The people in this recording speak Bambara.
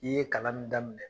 I ye kalan min daminɛ